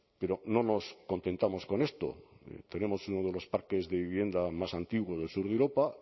pero no nos contentamos con esto tenemos uno de los parques de vivienda más antiguo del sur de europa